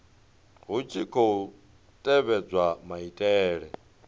hu tshi khou tevhedzwa maitele